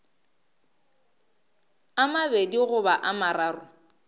a mabedi goba a mararo